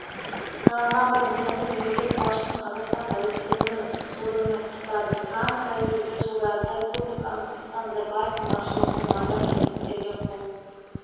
сайланған президенті мемлекет басшысын қазақстан тәуелсіздігінің жылдығымен құттықтады трамп тәуелсіздік жылдарында республикамыз нұрсұлтан назарбаевтың басшылығымен ғажап жетістіктерге қол